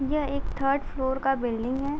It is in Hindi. यह एक थर्ड फ्लोर का बिल्डिंग हैं।